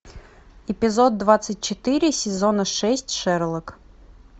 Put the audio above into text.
эпизод двадцать четыре сезона шесть шерлок